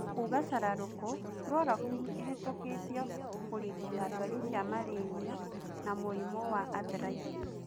Kuuga shararũku, chloroquine ihitũkitio kurigita dwari cia malaria na mũrimũ wa Arthritis